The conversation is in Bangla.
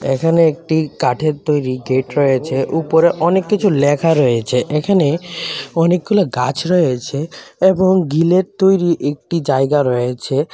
এখানে একটি কাঠের তৈরি গেট রয়েছে উপরে অনেক কিছু লেখা রয়েছে এখানে অনেকগুলো গাছ রয়েছে এবং গিলের তৈরি একটি জায়গা রয়েছে.